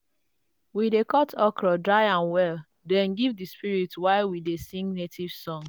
we dey cut okro dry am well then give the spirits while we dey sing native songs.